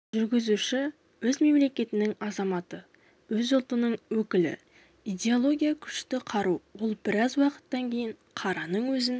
жүргізуші өз мемлекетінің азаматы өз ұлтының өкілі идеология күшті қару ол біраз уақыттан кейін қараның өзін